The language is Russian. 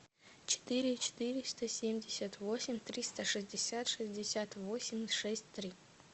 четыре четыреста семьдесят восемь триста шестьдесят шестьдесят восемь шесть три